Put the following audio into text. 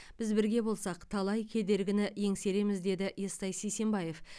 біз бірге болсақ талай кедергіні еңсереміз деді естай сисенбаев